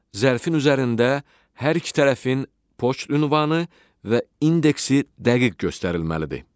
Zərfin üzərində hər iki tərəfin poçt ünvanı və indeksi dəqiq göstərilməlidir.